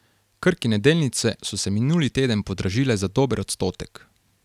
Krkine delnice so se minuli teden podražile za dober odstotek.